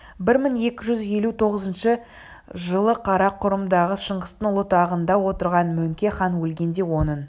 бір мың екі жүз елу тоғызыншы жылы қарақұрымдағы шыңғыстың ұлы тағында отырған мөңке хан өлгенде оның